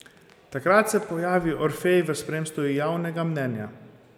Takrat se pojavi Orfej v spremstvu Javnega Mnenja.